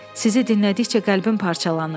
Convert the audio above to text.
Sizi dinlədikcə qəlbim parçalanır.